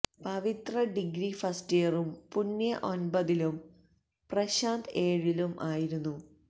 പവിത്ര degree first ഇയറും പുണ്യ ഒൻപതിലും പ്രശാന്ത് ഏഴിലും ആയിരുന്നു